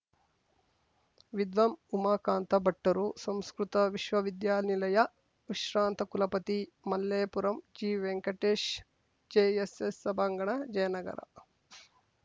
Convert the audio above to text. ವಿದ್ವಾನ್‌ ಉಮಾಕಾಂತ ಭಟ್ಟರು ಸಂಸ್ಕೃತ ವಿಶ್ವ ವಿದ್ಯಾನಿಲಯ ವಿಶ್ರಾಂತ ಕುಲಪತಿ ಮಲ್ಲೇಪುರಂ ಜಿವೆಂಕಟೇಶ್‌ ಜೆಎಸ್‌ಎಸ್‌ ಸಭಾಂಗಣ ಜಯನಗರ